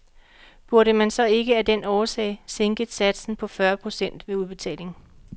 Burde man så ikke af den årsag sænke satsen på fyrre procent ved udbetaling?